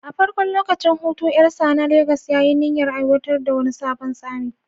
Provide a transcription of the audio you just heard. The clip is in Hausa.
A farkon lokacin hutu, Jalsa na Legas ya yi niyyar aiwatar da wani sabon tsari